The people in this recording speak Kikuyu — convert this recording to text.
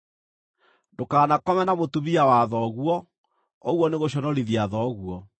“ ‘Ndũkanakome na mũtumia wa thoguo; ũguo nĩ gũconorithia thoguo.